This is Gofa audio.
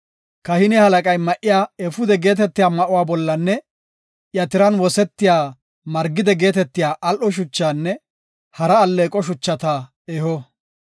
Kahine halaqay ma7iya efuude geetetiya ma7uwa bollanne iya tiran wosetiya margide geetetiya al7o shuchaanne hara alleeqo shuchata eho.